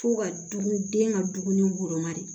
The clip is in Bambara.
Fo ka dun den ka dumuni woloma de